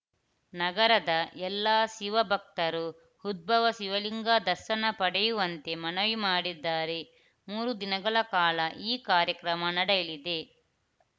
ನಗರದ ಎಲ್ಲ ಶಿವ ಭಕ್ತರು ಉದ್ಭವ ಶಿವಲಿಂಗ ದರ್ಶನ ಪಡೆಯುವಂತೆ ಮನವಿ ಮಾಡಿದ್ದಾರೆ ಮೂರು ದಿನಗಳ ಕಾಲ ಈ ಕಾರ್ಯಕ್ರಮ ನಡೆಯಲಿದೆ